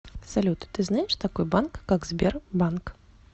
салют ты знаешь такой банк как сбербанк